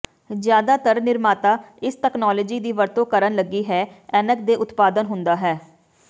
ਜ਼ਿਆਦਾਤਰ ਨਿਰਮਾਤਾ ਇਸ ਤਕਨਾਲੋਜੀ ਦੀ ਵਰਤੋ ਕਰਨ ਲੱਗੀ ਹੈ ਐਨਕ ਦੇ ਉਤਪਾਦਨ ਹੁੰਦਾ ਹੈ